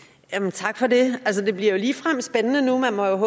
tak for det altså det bliver jo ligefrem spændende nu man må jo